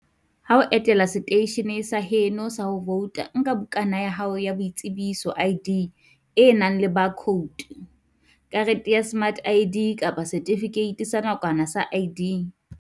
Ha o etela seteishene sa heno sa ho vouta, nka bukana ya hao ya boitsebiso, ID, e nang le baakhoutu, karete ya smart ID kapa setifikeiti sa nakwana sa ID.